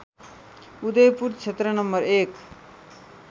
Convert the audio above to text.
उदयपुर क्षेत्र नं १